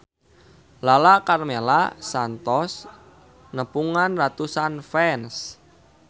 Lala Karmela kantos nepungan ratusan fans